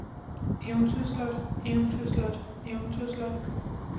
eventyrslot eventyrslot eventyrslot